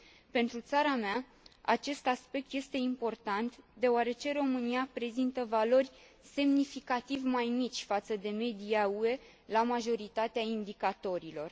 Pentru țara mea, acest aspect este important, deoarece România prezintă valori semnificativ mai mici față de media UE la majoritatea indicatorilor.